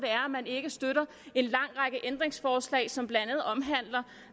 man ikke støtter en lang række ændringsforslag som blandt andet omhandler